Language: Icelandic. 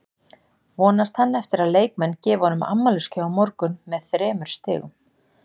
Vonast hann eftir að leikmenn gefi honum afmælisgjöf á morgun með þremur stigum?